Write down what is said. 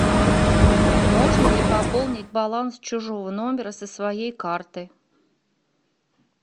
можно ли пополнить баланс чужого номера со своей карты